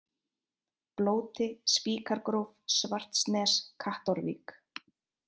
Blóti, Spíkargróf, Svartsnes, Kattárvík